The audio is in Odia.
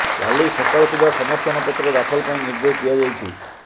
କାଲି ସକାଳ ସୁଦ୍ଧା ସମର୍ଥନ ପତ୍ର ଦାଖଲ ପାଇଁ ନିର୍ଦେଶ ଦିଆଯାଇଛି